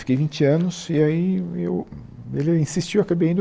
Fiquei vinte anos e aí eu... Ele insistiu, eu acabei indo.